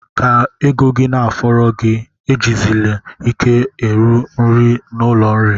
Ka ego gị na-afọrọ gi, ejizili ike eru nri n'ụlọ nri.